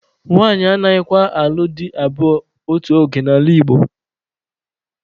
Nwanyị anaghịkwa alụ dị abụọ otu oge n'ala Igbo.